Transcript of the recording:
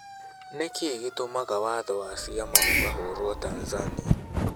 Nĩ kĩĩ gĩtũmaga watho wa ciama ukahũrwa Tanzania?